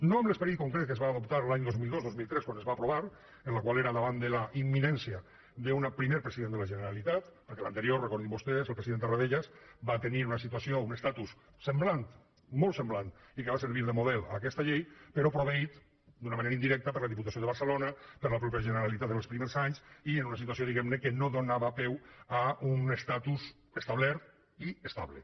no amb l’esperit concret que es va adoptar l’any dos mil dos dos mil tres quan es va aprovar que era davant de la imminència d’un primer president de la generalitat perquè l’anterior recordin vostès el president tarradellas va tenir una situació un estatus semblant molt semblant i que va servir de model a aquesta llei però proveït d’una manera indirecta per la diputació de barcelona per la mateixa generalitat en els primers anys i en una situació diguem ne que no donava peu a un estatus establert i estable